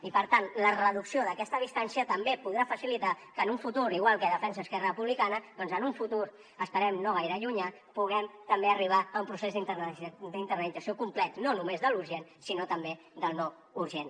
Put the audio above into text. i per tant la reducció d’aquesta distància també podrà facilitar que en un futur igual que ho defensa esquerra republicana esperem que no gaire llunyà puguem també arribar a un procés d’internalització complet no només de l’urgent sinó també del no urgent